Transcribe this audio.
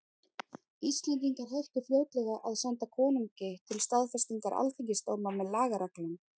Íslendingar hættu fljótlega að senda konungi til staðfestingar alþingisdóma með lagareglum.